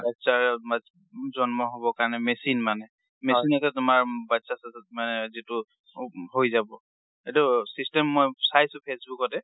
বাচ্চাই জন্ম হব কাৰণে machine মানে। machine এটা তোমাৰ বাচ্চা-চাচ্চা মানে যিটো উব হৈ যাব। এইটো system মই চাইছোঁ ফেচবুকতে।